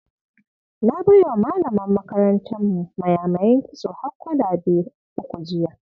Na bai wa malamar makarantarmu mayamayan kitso har kwalabe uku jiya.